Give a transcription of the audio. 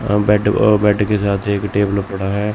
How देट ओह bed के साथ एक टेबल पड़ा है।